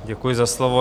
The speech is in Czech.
Děkuji za slovo.